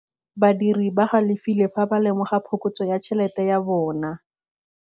Badiri ba galefile fa ba lemoga phokotsô ya tšhelête ya bone.